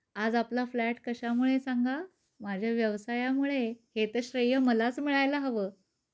आज आपला फ्लॅट कशा मुळे सांगा? माझ्या व्यवसायामुळे. हे तर श्रेय मलाच मिळायला हव.